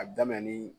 A bɛ daminɛ ni